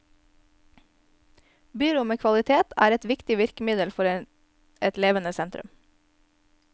Byrom med kvalitet er et viktig virkemiddel for et levende sentrum.